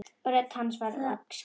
Rödd hans skal hverfa.